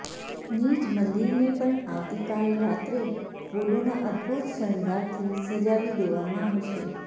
નીજ મંદિરને પણ આવતીકાલ રાત્રે ફૂલોના અદભૂત શણગારથી સજાવી દેવામાં આવશે